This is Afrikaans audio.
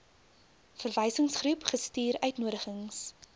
verwysingsgroep gestuur uitnodigings